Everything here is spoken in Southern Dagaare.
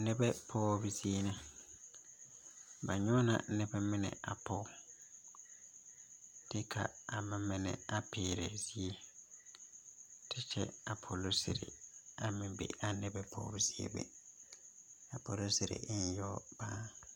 Noba pɔgebo zie la ,ba nyɔŋ la noba mine te Pɔge kyɛ ka ba mine a piirɛ zeere kyɛ ka polisiri meŋ be pɔge zeea be ,a polisiri e la yaga paa.